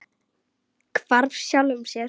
Hvarf sjálfum sér.